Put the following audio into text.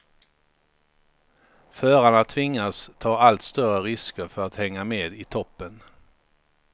Förarna tvingas ta allt större risker för att hänga med i toppen.